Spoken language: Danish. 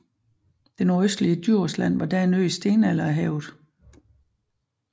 Det nordøstlige Djursland var da en ø i stenalderhavet